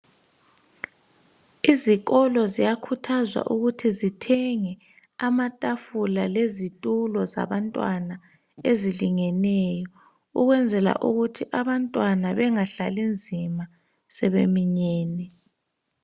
Izikolo ziyakhuthazwa ukuthi zithenge amatafula lezitulo zabantwana ezilingeneyo ukwenzela ukuthi abantwana bengahlali nzima sebeminyene.